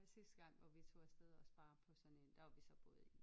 Sidste gang hvor vi tog afsted også bare på sådan en der var vi så både i